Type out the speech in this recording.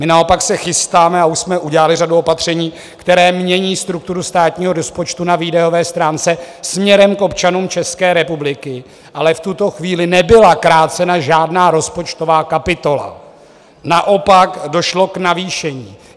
My naopak se chystáme a už jsme udělali řadu opatření, která mění strukturu státního rozpočtu na výdajové stránce směrem k občanům České republiky, ale v tuto chvíli nebyla krácena žádná rozpočtová kapitola, naopak došlo k navýšení.